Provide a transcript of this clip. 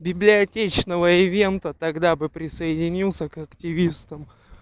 библиотечного эвента тогда бы присоединился к активистам